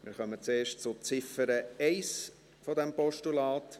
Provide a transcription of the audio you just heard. Wir kommen zuerst zur Ziffer 1 dieses Postulats.